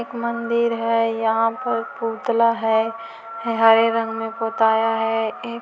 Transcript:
एक मंदिर है यहाँ पर पुतला है हरे रंग में पुताया है ए--